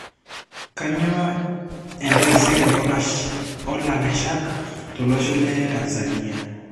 Kanyio entaisere olakeshak tolosho le Tanzania.